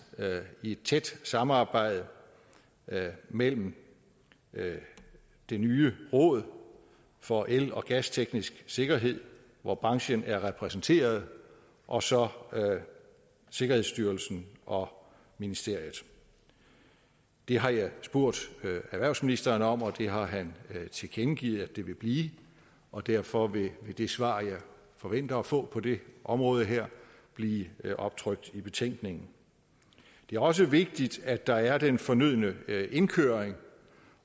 i et tæt samarbejde mellem det nye råd for el og gasteknisk sikkerhed hvor branchen er repræsenteret og så sikkerhedsstyrelsen og ministeriet det har jeg spurgt erhvervsministeren om og det har han tilkendegivet at det vil blive og derfor vil det svar jeg forventer at få det område her blive optrykt i betænkningen det er også vigtigt at der er den fornødne indkøring